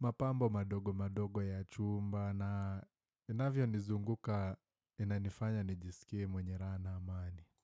mapambo madogo madogo ya chumba na inavyonizunguka inanifanya nijisikie mwenye raha na amani.